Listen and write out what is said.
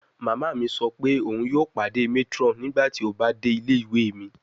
Mama mi sọ pe oun yoo pade matron nigbati o ba de ile-iwe mi